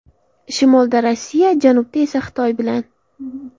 Shimolda Rossiya, janubda esa Xitoy bilan.